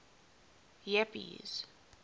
jeppes